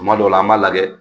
Tuma dɔw la an b'a lajɛ